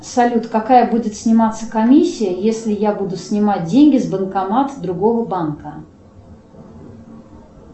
салют какая будет сниматься комиссия если я буду снимать деньги с банкомата другого банка